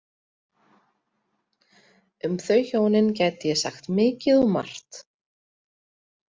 Um þau hjónin gæti ég sagt mikið og margt.